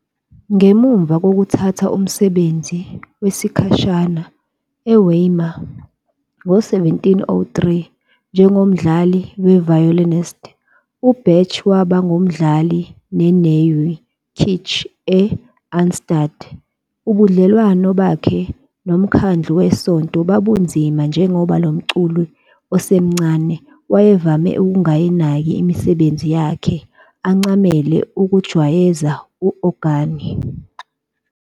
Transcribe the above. Ngemuva kokuthatha umsebenzi wesikhashana eWeimar ngo-1703 njengomdlali we-violinist, uBach waba ngumdlali weNeue Kirche e-Arnstadt. Ubudlelwano bakhe nomkhandlu wesonto babunzima njengoba lo mculi osemncane wayevame ukungayinaki imisebenzi yakhe, ancamele ukujwayeza u-ogani.